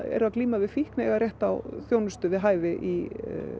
glíma við fíkn eiga rétt á að þjónustu við hæfi í